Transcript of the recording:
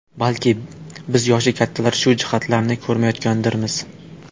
Balki, biz yoshi kattalar shu jihatlarni ko‘rmayotgandirmiz.